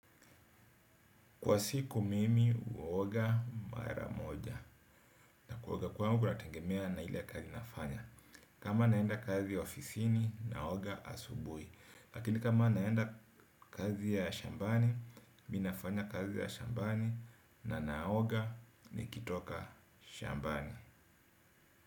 Kwa siku mimi uoga mara moja na kuoga kwangu nategemea na ile kazi nafanya. Kama naenda kazi ya ofisini naoga asubuhi lakini kama naenda kazi ya shambani mi nafanya kazi ya shambani na naoga nikitoka shambani.